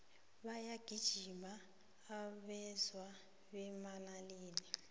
bayagijima abeswa bemanaleni